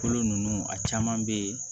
Kolo ninnu a caman bɛ yen